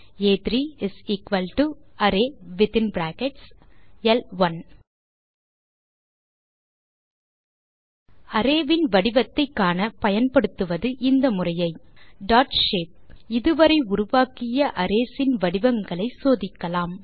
ஆ3 array within brackets ல்1 array இன் வடிவத்தை காண பயன்படுத்துவது இந்த முறையை டாட் ஷேப் இது வரை உருவாக்கிய அரேஸ் இன் வடிவங்களை சோதிக்கலாம்